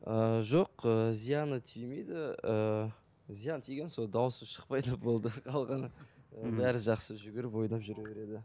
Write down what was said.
ыыы жоқ ы зияны тимейді ыыы зияны тиген сол дауысы шықпайды болды қалғаны бәрі жақсы жүгіріп ойнап жүре береді